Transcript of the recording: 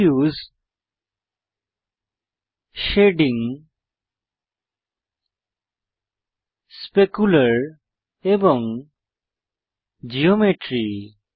diffuse shading specular এবং geometry